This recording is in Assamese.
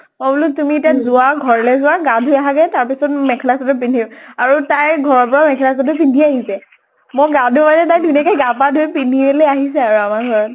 মই বুলু তুমি এতিয়া যোৱা, ঘৰলৈ যোৱা, গা ধুই আহাগে তাৰ পিছত মেখেলা চাদৰ পিন্ধিম। আৰু তাই ঘৰৰ পৰা মেখেলা চাদৰ পিন্ধি আহিছে। মই গা ধো মানে তাই ধুনীয়াকে গা পা ধুই পিন্ধিয়ে লৈ আহিছে আৰু আমাৰ ঘৰত